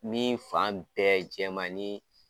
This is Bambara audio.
Min fan bɛɛ jɛman ni